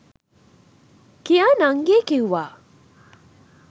කියා නංගි කිව්වා.